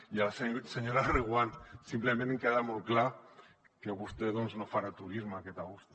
i a la senyora reguant simplement em queda molt clar que vostè no farà turisme aquest agost